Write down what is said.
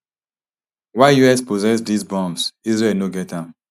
while us possess dis bombs israel no get am